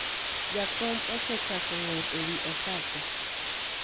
jakom osechako ng'ur ewi osache